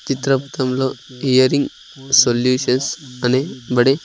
చిత్రపతంలో earring solutions అని బడే--